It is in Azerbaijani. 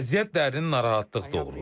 Vəziyyət dərindən narahatlıq doğurur.